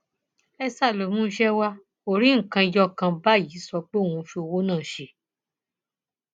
esther tó mú iṣẹ wa kò rí nǹkan ẹyọ kan báyìí sọ pé òun fi owó náà ṣe